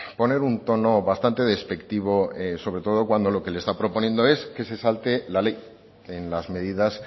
poner un tono bastante despectivo sobre todo cuando lo que está proponiendo es que se salte la ley en las medidas